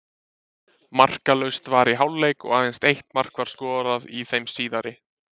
Markalaust var í hálfleik og aðeins eitt mark var skorað í þeim síðari.